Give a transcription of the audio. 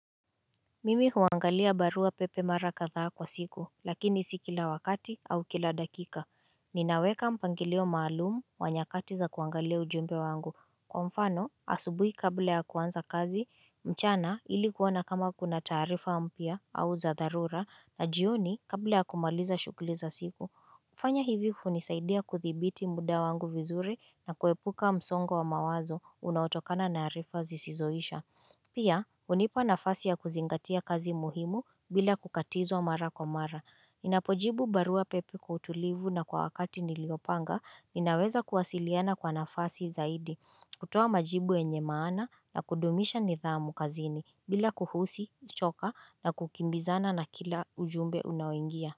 Mimi huangalia barua pepe mara kadhaa kwa siku lakini si kila wakati au kila dakika Ninaweka mpangilio maalumu wa nyakati za kuangalia ujumbe wangu Kwa mfano asubuhi kabla ya kuanza kazi mchana ili kuona kama kuna taarifa mpya au za dharura na jioni kabla ya kumaliza shughuli za siku kufanya hivi hunisaidia kuthibiti muda wangu vizuri na kuepuka msongo wa mawazo unaotokana na harifa zisizoisha Pia, unipa nafasi ya kuzingatia kazi muhimu bila kukatizwa mara kwa mara. Ninapo jibu barua pepe kwa utulivu na kwa wakati niliopanga, ninaweza kuwasiliana kwa nafasi zaidi. Kutoa majibu yenye maana na kudumisha nidhamu kazini bila kuhusi, choka na kukimbizana na kila ujumbe unaoingia.